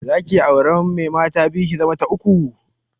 Zaki iya auren mai mata biyu, ki zama ta uku?